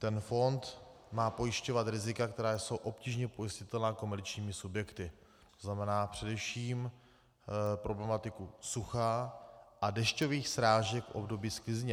Ten fond má pojišťovat rizika, která jsou obtížně pojistitelná komerčními subjekty, to znamená především problematiku sucha a dešťových srážek v období sklizně.